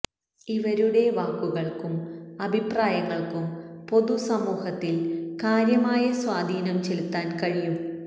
ഇവരുടെ വാക്കുകള്ക്കും അഭിപ്രായങ്ങള്ക്കും പൊതു സമൂഹത്തില് കാര്യമായ സ്വാധീനം ചെലുത്താന് കഴിയും